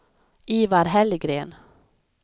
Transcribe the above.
Ivar Hellgren